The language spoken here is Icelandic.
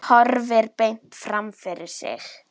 Horfir beint fram fyrir sig.